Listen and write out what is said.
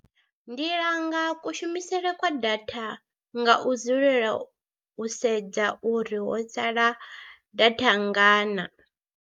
Ndi langa kushumisele kwa data nga u dzulela u sedza uri ho sala data nngana.